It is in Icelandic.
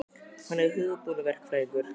Hann er hugbúnaðarverkfræðingur.